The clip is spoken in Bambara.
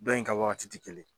Dɔn in ka wagati ti kelen